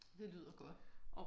Det lyder godt